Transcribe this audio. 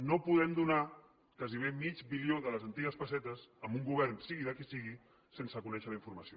no podem donar gairebé mig bilió de les antigues pessetes a un govern sigui de qui sigui sense conèixer la informació